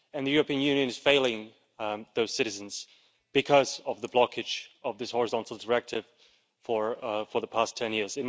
The European Union is failing those citizens because of the blockage of this horizontal directive for the past 10 years.